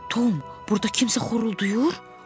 Tom, burda kimsə xoruldayır.